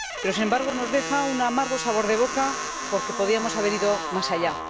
Sin embargo, nos deja un amargo sabor de boca, porque podíamos haber ido más allá.